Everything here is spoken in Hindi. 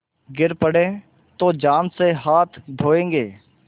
गिर पड़े तो जान से हाथ धोयेंगे